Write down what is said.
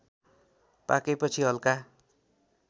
पाकेपछि हल्का